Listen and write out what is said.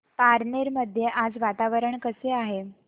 पारनेर मध्ये आज वातावरण कसे आहे